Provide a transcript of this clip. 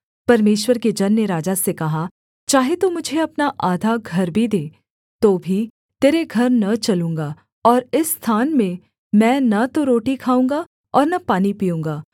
परमेश्वर के जन ने राजा से कहा चाहे तू मुझे अपना आधा घर भी दे तो भी तेरे घर न चलूँगा और इस स्थान में मैं न तो रोटी खाऊँगा और न पानी पीऊँगा